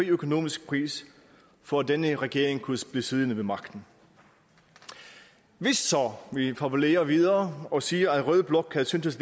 økonomisk pris for at denne regering kunne blive siddende ved magten hvis så vi fabulerer videre og siger at rød blok havde syntes